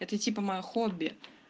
это типа моё хобби